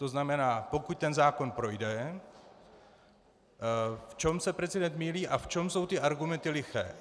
To znamená, pokud ten zákon projde, v čem se prezident mýlí a v čem jsou ty argumenty liché.